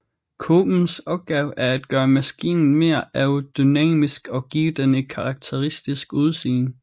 Kåbens opgave er at gøre maskinen mere aerodynamisk og give den et karakteristisk udseende